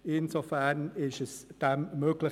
Insofern ist das möglich.